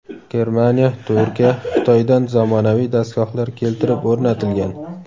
Germaniya, Turkiya, Xitoydan zamonaviy dastgohlar keltirib o‘rnatilgan.